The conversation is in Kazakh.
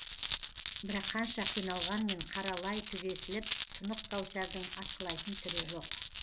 бірақ қанша қиналғанмен қара лай түгесіліп тұнық кәусардың атқылайтын түрі жоқ